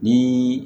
Ni